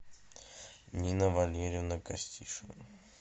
нина валерьевна костишина